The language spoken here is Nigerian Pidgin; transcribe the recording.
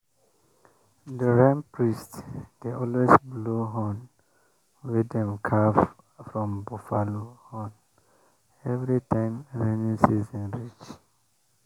the rain priest dey always blow horn wey dem carve from buffalo horn every time rainy season reach.